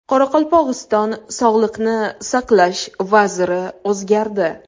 Qoraqalpog‘iston sog‘liqni saqlash vaziri o‘zgardi.